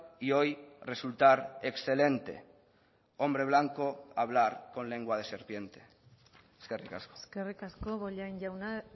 y hoy resultar excelente hombre blanco hablar con lengua de serpiente eskerrik asko eskerrik asko bollain jauna